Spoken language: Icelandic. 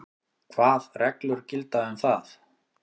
Hvað reglur gilda um það?